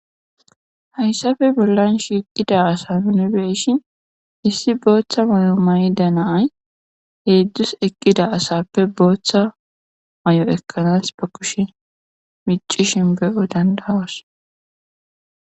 hayssafe bollan shiiqida asa nebeeshin issi booththa may7o mayda naay heedzdzus eqqida asappe booththa may7o ekkanas ba kushe mici shinbeyo dandahos